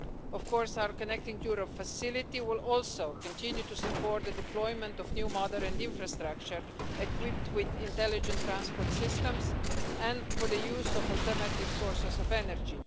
Of course, our Connecting Europe Facility will also continue to support the deployment of new, modern infrastructure equipped with intelligent transport systems, and for the use of alternative sources of energy.